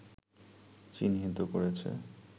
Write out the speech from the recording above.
চিহ্নিত করেছে